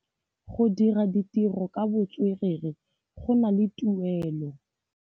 Go dira ditirô ka botswerere go na le tuelô.